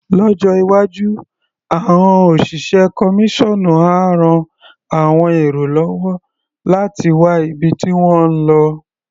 Lọ́jọ́ iwájú, àọn òṣìṣẹ́ kọmíṣọ́ọ̀nú á ran àwọn èrò lọ́wọ́ láti wá ibi tí wọ́n ń lo.